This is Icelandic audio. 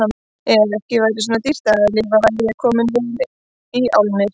Ef ekki væri svona dýrt að lifa væri ég kominn vel í álnir.